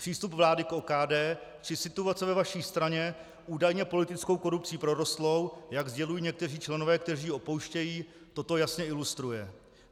Přístup vlády k OKD či situace ve vaší straně, údajně politickou korupcí prorostlé, jak sdělují někteří členové, kteří ji opouštějí, toto jasně ilustruje.